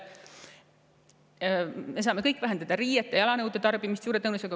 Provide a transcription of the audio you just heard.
Me saame kõik vähendada riiete, jalanõude tarbimist.